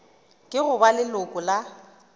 ke go ba leloko la